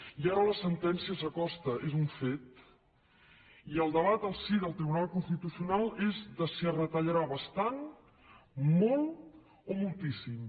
i ara la sentència s’acosta és un fet i el debat al si del tribunal constitucional és de si es retallarà bastant molt o moltíssim